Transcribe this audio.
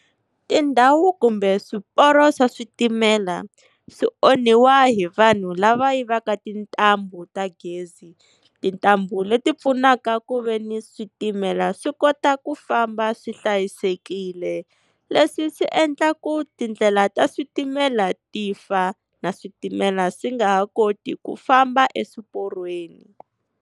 Tindhawu kumbe swiporo swa switimela swi onhiwa hi vanhu lava yivaka tintambu ta gezi, tintambu leti pfunaka ku veni switimela swi kota ku famba swi hlayisekile. Leswi swi endla ku tindlela ta switimela ti fa na switimela swi nga ha koti ku famba eswiporweni.